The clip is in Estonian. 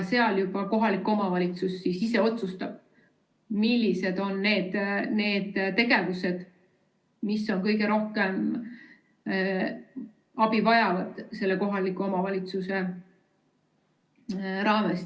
Seal juba kohalik omavalitsus ise otsustab, millised on need tegevused, mis on kõige rohkem abi vajavad selle kohaliku omavalitsuse raames.